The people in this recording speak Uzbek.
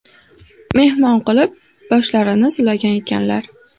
Mehmon qilib, boshlarini silagan ekanlar.